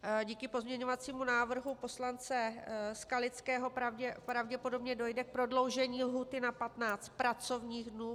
díky pozměňovacímu návrhu poslance Skalického pravděpodobně dojde k prodloužení lhůty na 15 pracovních dnů.